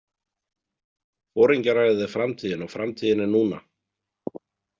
Foringjaræðið er framtíðin og framtíðin er núna!